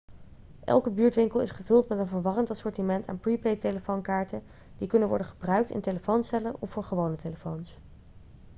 elke buurtwinkel is gevuld met een verwarrend assortiment aan prepaidtelefoonkaarten die kunnen worden gebruikt in telefooncellen of voor gewone telefoons